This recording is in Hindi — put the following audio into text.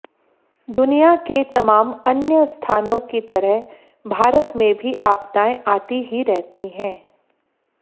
दुनिया के तमाम अन्य स्थानों की तरह भारत में भी आपदाएं आती ही रहती हैं